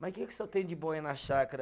Mas o que que o senhor tem de boa aí na chácara?